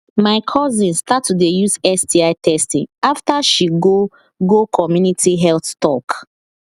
my cousin start to dey use sti testing after she go go community health talk